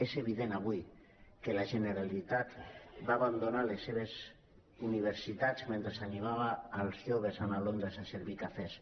és evident avui que la generalitat va abandonar les seves universitats mentre animava els joves a anar a londres a servir cafès